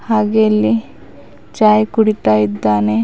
ಹಾಗೆ ಇಲ್ಲಿ ಚಾಯ್ ಕುಡಿತಾ ಇದ್ದಾನೆ.